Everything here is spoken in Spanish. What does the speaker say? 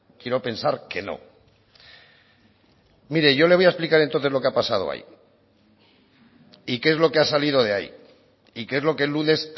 quiero pensar que no mire yo le voy a explicar entonces lo que ha pasado ahí y qué es lo que ha salido de ahí y qué es lo que el lunes